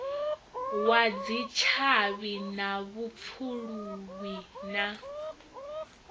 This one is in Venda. wa dzitshavhi na vhupfuluwi na